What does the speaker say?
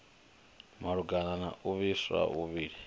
malugana na u vhifha muvhilini